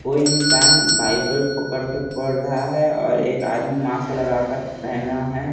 कोई इंसान बाइबल पकड़ के पड़ रहा है और एक आदमी मास लगा कर पहना है।